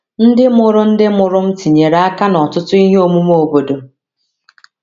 Ndị mụrụ Ndị mụrụ m tinyere aka n’ọtụtụ ihe omume obodo.